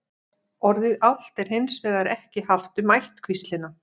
orðið álft er hins vegar ekki haft um ættkvíslina